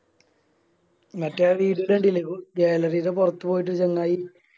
മറ്റേ News കണ്ടില്ലേ പൊറത്ത് പോയിട്ട് ചങ്ങായി